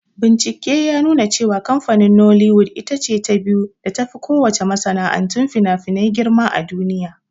Bincike ya nuna kamfanin "Nollywood"ita ce ta biyu da tafi ko wace masana'antun finafinai girma a duniya.